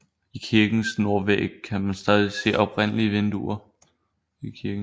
I kirkens nordvæg kan man stadig se oprindelige vinduer